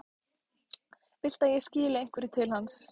Viltu að ég skili einhverju til hans?